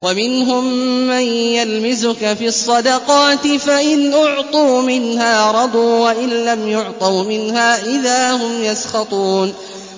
وَمِنْهُم مَّن يَلْمِزُكَ فِي الصَّدَقَاتِ فَإِنْ أُعْطُوا مِنْهَا رَضُوا وَإِن لَّمْ يُعْطَوْا مِنْهَا إِذَا هُمْ يَسْخَطُونَ